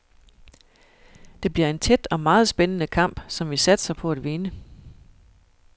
Det bliver en tæt og meget spændende kamp, som vi satser på at vinde.